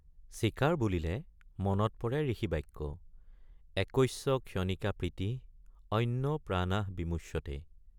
চিকাৰ বুলিলে মনত পৰে ঋষি বাক্য— একস্য ক্ষণিকা প্ৰীতিঃ অন্যৈ প্ৰাণা বিমুষ্যতে।